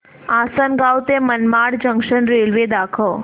आसंनगाव ते Manmad junction railway दाखव